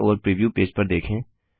बाएं ओर preview page पर देखें